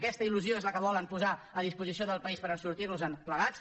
aquesta il·lusió és la que volen posar a disposició del país per sortir nos en plegats